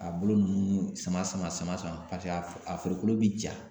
A bolo nunnu sama sama sama sama paseke a a farikolo be ja